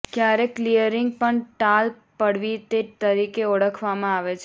ક્યારેક ક્લીયરિંગ પણ ટાલ પડવી તે તરીકે ઓળખવામાં આવે છે